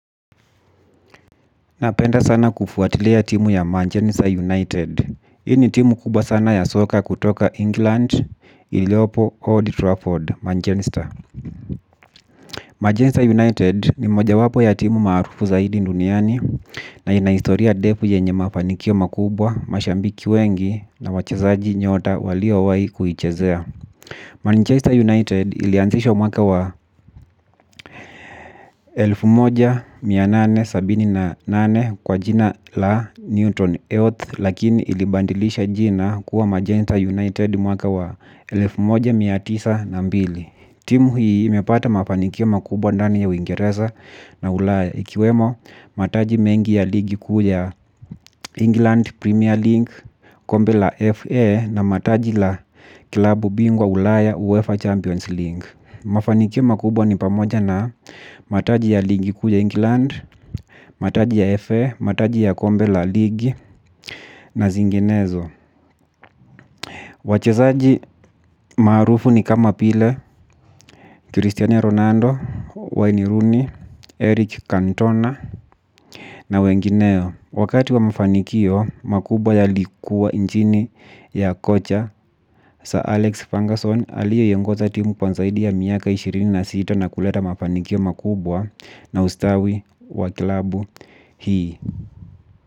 Napenda sana kufuatiliya timu ya Manchester United hii ni timu kubwa sana ya soka kutoka England iliopo Old Trafford, Manchester Manchester United ni moja wapo ya timu marufu zaidi duniani. Na inaistoria defu yenye mafanikio makubwa, mashambiki wengi na wachezaji nyota walio wai kuhichezea Manchester United ilianzishwa mwaka wa elfu moja na mia nane na sabini na nane kwa jina la Neutron Health lakini ilibandilisha jina kuwa Magenta United mwaka wa elfu moja na mia tisa na mbili. Timu hii imepata mafanikiao makubwa ndani ya uingereza na ulaya ikiwemo mataji mengi ya ligi kuya England Premier League kombe la FA na mataji la kilabu bingwa ulaya UEFA Champions League. Mafanikio makubwa ni pamoja na mataji ya ligi kuja England, mataji ya FA, mataji ya kombe la ligi na zinginezo. Wachezaji marufu ni kama pile, Cristiano Ronaldo, Wayne Rooney, Eric Cantona na wengineo. Wakati wa mafanikio makubwa yalikuwa nchini ya kocha, Sir Alex Fungerson aliye yongoza timu anzaidi ya miaka ishirini na sita na kuleta mafanikio makubwa. Na ustawi wakilabu hii.